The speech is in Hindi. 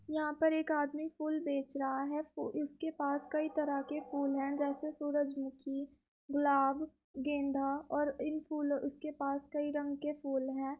यहाँ पर एक आदमी फूल बेच रहा है। इसके पास कईं तरह के फूल हैं जैसे सूरजमुखी गुलाब गेंदा और इन फूलों अ उसके पास कईं रंग के फूल हैं।